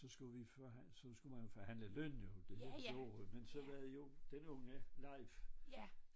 Så skulle vi så skulle man forhandle løn jo det var det vi gjorde men så var det jo den unge Leif